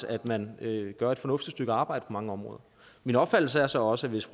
at man gør et fornuftigt stykke arbejde på mange områder min opfattelse er så også at hvis